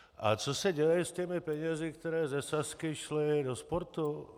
A co se děje s těmi penězi, které ze Sazky šly do sportu?